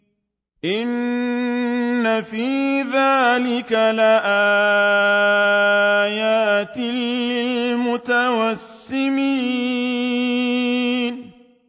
إِنَّ فِي ذَٰلِكَ لَآيَاتٍ لِّلْمُتَوَسِّمِينَ